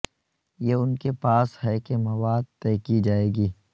یہ ان کے پاس ہے کہ مواد طے کی جائے گی